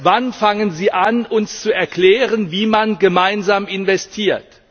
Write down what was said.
Wann fangen Sie an, uns zu erklären, wie man gemeinsam investiert?